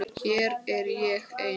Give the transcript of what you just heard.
Hér er ég ein.